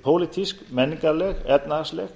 pólitísk menningarleg efnahagsleg